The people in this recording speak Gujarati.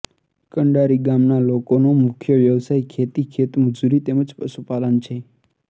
કંડારી ગામના લોકોનો મુખ્ય વ્યવસાય ખેતી ખેતમજૂરી તેમ જ પશુપાલન છે